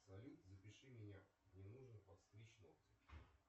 салют запиши меня мне нужно подстричь ногти